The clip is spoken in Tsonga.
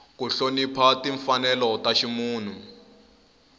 ku hlonipha timfanelo ta ximunhu